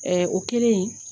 o kɛlen